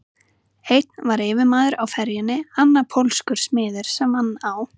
Einn var yfirmaður á ferjunni, annar pólskur smiður sem vann á